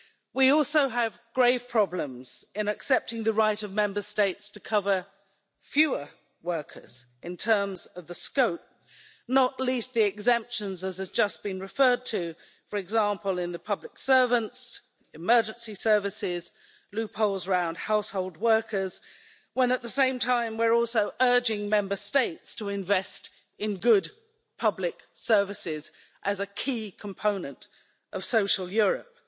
We also have grave problems in accepting the right of Member States to cover fewer workers in terms of the scope, not least the exemptions as has just been referred to, for example in the public services, emergency services, loopholes round household workers, when at the same time we are also urging Member States to invest in good public services as a key component of social Europe,